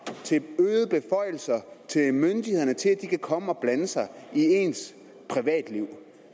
til øgede beføjelser til myndighederne til at de kan komme og blande sig i ens privatliv